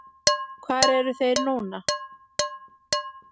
Hvar eru þeir núna?